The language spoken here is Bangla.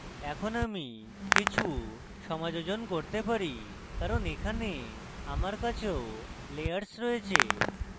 এখন আমি কিছু সমাযোজন করতে পারি কারণ এখানে আমার কাছেও layers রয়েছে